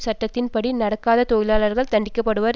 சட்டத்தின்படி நடக்காத தொழிலாளர்கள் தண்டிக்கப்படுவர்